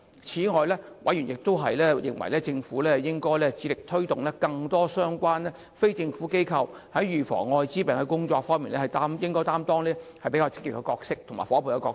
此外，委員認為，政府當局應致力推動更多相關非政府機構在防治愛滋病的工作方面，擔任積極的夥伴角色。